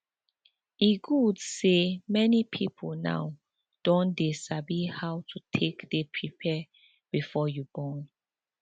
e good say many people now don dey dey sabi how to take dey prepare before you born